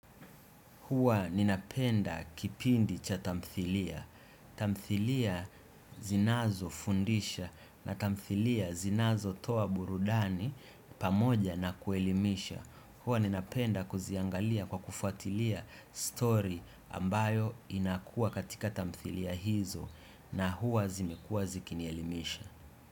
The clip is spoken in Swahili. Huwa ninapenda kipindi cha tamthilia. Tamthilia zinazo fundisha na tamthilia zinazo toa burudani pamoja na kuelimisha. Huwa ninapenda kuziangalia kwa kufuatilia story ambayo inakua katika tamthilia hizo na huwa zimekuwa zikinielimisha.